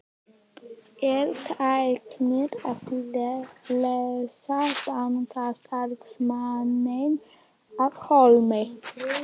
Er tæknin að leysa bankastarfsmanninn af hólmi?